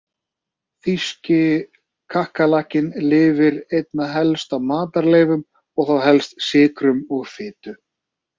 Þýski kakkalakkinn lifir einna helst á matarleifum og þá helst sykrum og fitu.